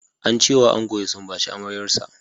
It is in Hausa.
Ance wa ango ya sumbaci amaryar sa.